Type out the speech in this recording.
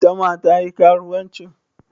Ita ma ta yi karuwanci?